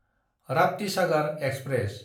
Raptisagar express